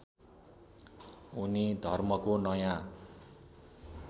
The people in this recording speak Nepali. उनी धर्मको नयाँ